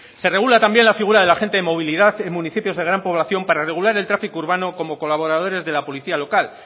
se regula también la figura del agente de movilidad en municipios de gran población para regular el tráfico urbano como colaboradores de la policía local